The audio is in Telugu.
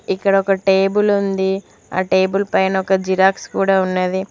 ఇక్కడ ఒక టేబుల్ ఉంది ఆ టేబుల్ పైన ఒక జిరాక్స్ కూడా ఉన్నది.